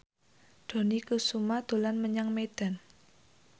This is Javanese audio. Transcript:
Dony Kesuma dolan menyang Medan